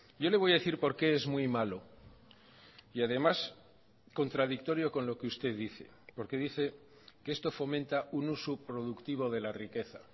yo le voy a decir por qué es muy malo y además contradictorio con lo que usted dice porque dice que esto fomenta un uso productivo de la riqueza